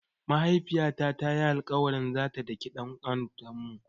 Mahaifiyata ta yi alƙawarin zata daki ɗan autanmu.